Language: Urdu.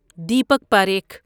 دیپک پریکھ